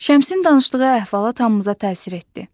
Şəmsin danışdığı əhvalat hamımıza təsir etdi.